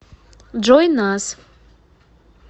джой нас